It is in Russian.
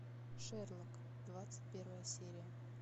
шерлок двадцать первая серия